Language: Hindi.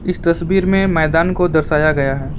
इस तस्वीर में मैदान को दर्शाया गया है।